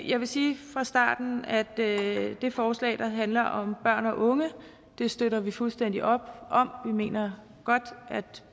jeg vil sige fra starten at det forslag der handler om børn og unge støtter vi fuldstændigt op om vi mener godt at